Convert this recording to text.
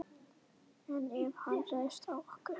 En ef hann ræðst á okkur?